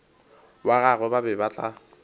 wa gagwe ba be ba